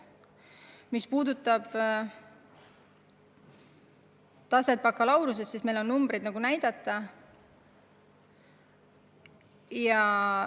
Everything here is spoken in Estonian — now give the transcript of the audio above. Mis puudutab taset bakalaureuseastmel, siis meil on mingeid numbreid ette näidata.